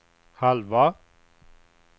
halva